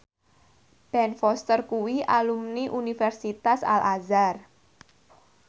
Ben Foster kuwi alumni Universitas Al Azhar